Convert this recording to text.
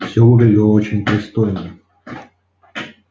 все выглядело очень пристойно